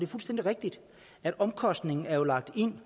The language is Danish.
fuldstændig rigtigt at omkostningen er lagt ind